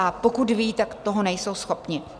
A pokud vědí, tak toho nejsou schopny.